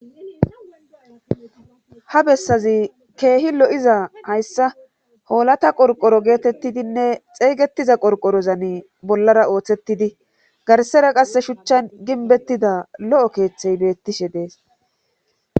ha bessazi keehi lo7iza hayssa hoolata qorqoro geetettidinne xeeygettiza qorqorozan bollara ooththettidi garsera qasse shuchchan ginbettida lo'o keeththey beettishe dees